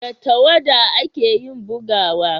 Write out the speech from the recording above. da tawada a ke yin bugawa